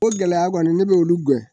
Ko gɛlɛya kɔni ne b'olu gɛn